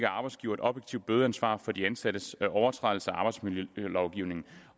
arbejdsgiver et objektivt bødeansvar for de ansattes overtrædelser af arbejdsmiljølovgivningen